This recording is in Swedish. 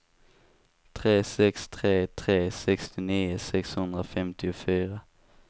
tre sex tre tre sextionio sexhundrafemtiofyra